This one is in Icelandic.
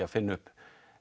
að finna upp